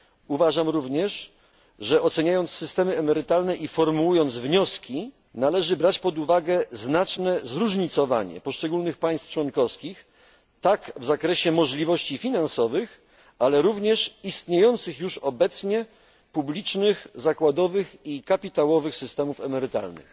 Uważam również, że oceniając systemy emerytalne i formułując wnioski należy brać pod uwagę znaczne zróżnicowanie poszczególnych państw członkowskich tak w zakresie możliwości finansowych, jak również istniejących już obecnie publicznych zakładowych i kapitałowych systemów emerytalnych.